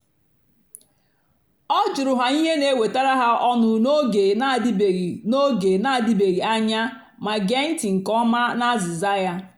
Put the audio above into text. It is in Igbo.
ọ jụ̀rù ha ihe na-èwètàra ha ọ́nụ́ n’ógè na-àdị̀bèghị́ n’ógè na-àdị̀bèghị́ anya mà gèè ntị́ nkè ọ̀ma na àzị́za ya.